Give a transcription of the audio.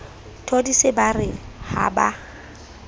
thodise ba re ha ba